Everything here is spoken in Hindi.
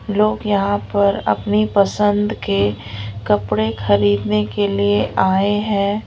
लोग यहां पर अपनी पसंद के कपड़े खरीदने के लिए आए हैं।